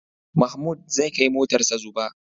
Mahmud zai kai motarsa Zuba.